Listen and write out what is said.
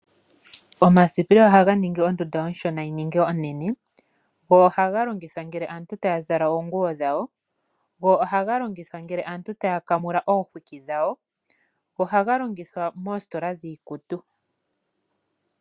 Omasipili ohaga ningi ondunda onshona yininge onene. Ohaga longithwa ngele aantu taya zala oonguwo dhawo, ohaga longithwa wo ngele aantu taya kamula omafufu gawo, nohaga longithwa wo moositola dhiikutu.